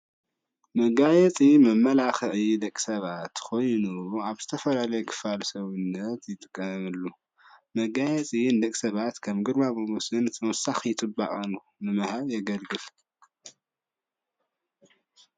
መጋየፂ መመላኪዒ ደቂ ሰባት ኮይኑ ኣብ ዝተፈላለዩ ክፋለ ሰውነት ይጥቀምሉ፡፡ መጋየፂ ንደቂ ሰባት ከም ግርማ ሞጎስ ተወሳኪ ፅባቐ ንምሃብ የደግፍ፡፡